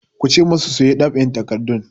Ku ce masu su yi ɗab'in takardun!